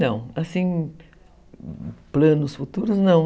Não, assim, planos futuros, não.